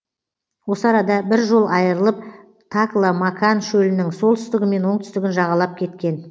осы арада бір жол айырылып такла макан шөлінің солтүстігі мен оңтүстігін жағалап кеткен